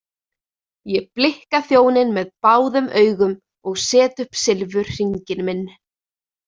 Ég blikka þjóninn með báðum augum og set upp silfurhringinn minn.